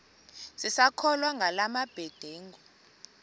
sisakholwa ngala mabedengu